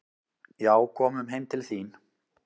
"""Já, komum heim til þín."""